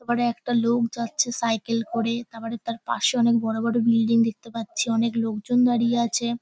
তারপরে একটা লোক যাচ্ছে সাইকেল করে তারপরে তার পাশে অনেক বড় বড় বিল্ডিং দেখতে পাচ্ছি অনেক লোকজন দাঁড়িয়ে আছে।